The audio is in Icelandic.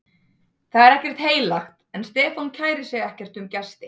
Það er ekkert heilagt, en Stefán kærir sig ekkert um gesti